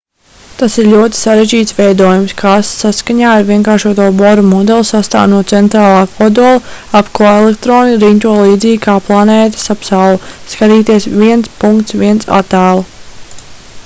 tas ir ļoti sarežģīts veidojums kas saskaņā ar vienkāršoto bora modeli sastāv no centrālā kodola ap ko elektroni riņķo līdzīgi kā planētas ap sauli sk 1.1. attēlu